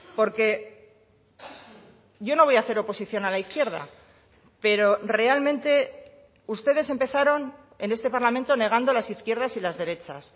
porque yo no voy a hacer oposición a la izquierda pero realmente ustedes empezaron en este parlamento negando las izquierdas y las derechas